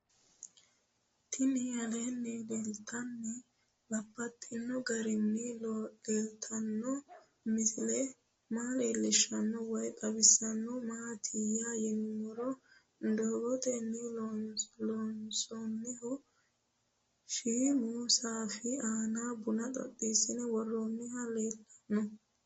Tinni aleenni leelittannotti babaxxittinno garinni leelittanno misile maa leelishshanno woy xawisannori maattiya yinummoro dadotenni loonsoonnihu shiimmu saffi aanna bunna xeense woroonnihu leelanno